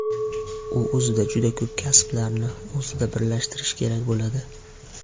U o‘zida juda ko‘p kasblarni o‘zida birlashtirishi kerak bo‘ladi.